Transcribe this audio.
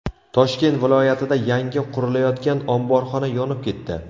Toshkent viloyatida yangi qurilayotgan omborxona yonib ketdi.